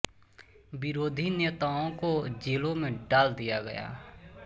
विरोधी नेताओं को जेलों में डाल दिया गया